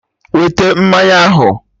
Wete mmanya ahụ!